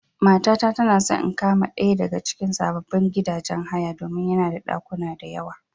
Matata tana so in kama ɗaya daga cikin sababbin gidajen haya domin yana da ɗakuna da yawa.